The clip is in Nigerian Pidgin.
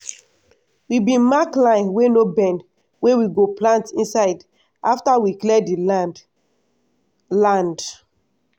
we bin mark line wey no bend wey we go plant inside after we clear di land. land.